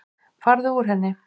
Farðu úr henni.